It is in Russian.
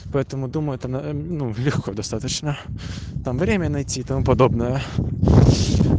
поэтому думаю там ээ ну легко достаточно там время найти и тому подобное